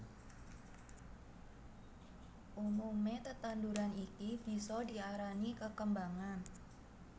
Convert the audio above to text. Umume tetanduran iki bisa diarani kekembangan